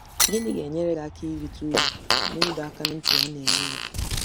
Gịnị ga-enyere gị aka irite uru ná ịdọ aka ná ntị a na-enye gị?